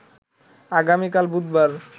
আগামিকাল বুধবার